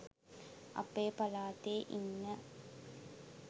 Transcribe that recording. අපේ පළාතේ ඉන්න